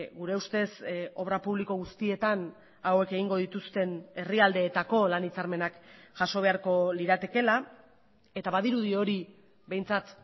gure ustez obra publiko guztietan hauek egingo dituzten herrialdeetako lan hitzarmenak jaso beharko liratekeela eta badirudi hori behintzat